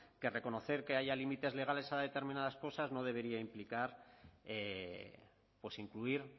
que es reconocer que haya límites legales a determinadas cosas no debería implicar incluir